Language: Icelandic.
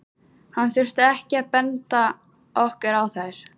Hann þurfti ekki að benda okkur á þær.